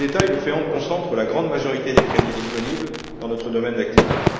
Le FEAMP concentre la grande majorité des crédits disponibles dans notre domaine d'activité.